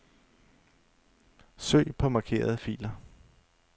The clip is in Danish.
Søg på markerede filer.